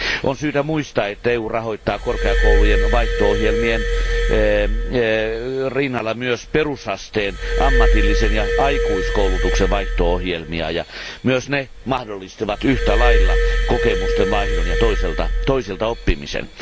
On syytä muistaa, että EU rahoittaa korkeakoulujen vaihto ohjelmien rinnalla myös perusasteen, ammatillisen ja aikuiskoulutuksen vaihto ohjelmia. Myös ne mahdollistavat yhtälailla kokemusten vaihdon ja toisilta oppimisen.